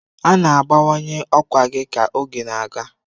A na-abawanye ọkwa gị ka oge na-aga.